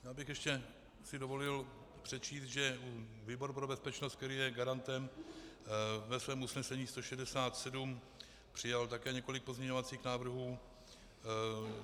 Já bych ještě si dovolil přečíst, že výbor pro bezpečnost, který je garantem, ve svém usnesení 167, přijal také několik pozměňovacích návrhů.